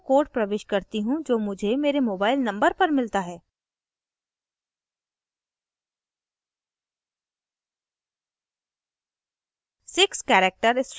अतः मैं so code प्रविष्ट करती हूँ जो मुझे मेरे mobile number पर मिलता है